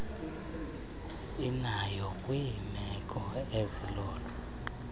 inayo kwiimeko ezilolo